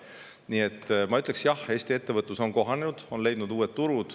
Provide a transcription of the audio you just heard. Nii et ma ütleksin: jah, Eesti ettevõtlus on kohanenud, on leidnud uued turud.